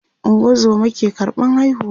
ungozoma ke karɓan haihuwa